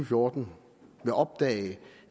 fjorten vil opdage